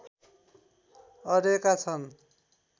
अडेका छन्